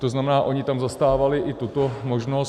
To znamená, ony tam zastávaly i tuto možnost.